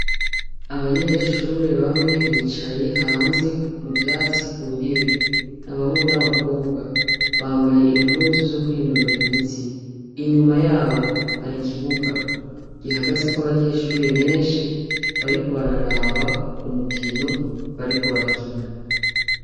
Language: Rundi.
Abanyeshure bamwe bicaye hanze mu vyatsi ku ntebe, ni abahungu n'abakobwa. Bambaye impuzu zo kwinonora imitsi. Inyuma yabo hari ikibuga gihagazeko abanyeshure benshi, bariko bararaba umukino bariko barakina.